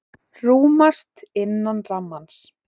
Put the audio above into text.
Rúmast innan rammans